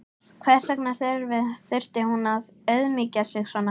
Hvers vegna þurfti hún að auðmýkja sig svona?